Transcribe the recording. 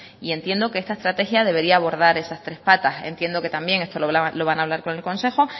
entiendo que esta estrategia debería abordar esas tres patas entiendo que también esto lo van a hablar con el consejo